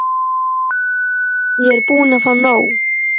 Ég er búin að fá nóg.